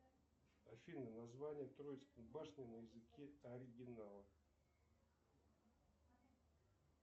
афина название троицкой башни на языке оригинала